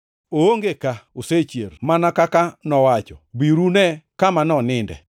Oonge ka; osechier, mana kaka nowacho. Biuru une kama noninde.